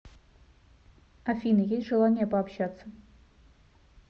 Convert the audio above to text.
афина есть желание пообщаться